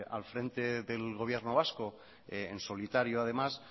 al frente del gobierno vasco en solitario además